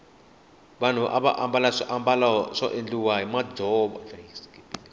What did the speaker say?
vanhu ava ambala swimbalo swo endhiwa hi ndzovo